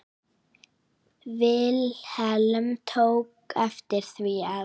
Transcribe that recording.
Vilhelm tók eftir því að